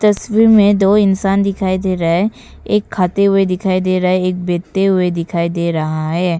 तस्वीर में दो इंसान दिखाई दे रहा है एक खाते हुए दिखाई दे रहा है एक बैठते हुए दिखाई दे रहा है।